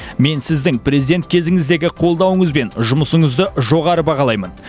мен сіздің президент кезіңіздегі қолдауыңыз бен жұмысыңызды жоғары бағалаймын